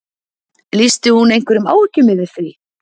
Lýsti hún einhverjum áhyggjum yfir því?